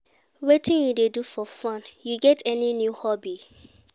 Wetin you dey do for fun, you get any new hobby?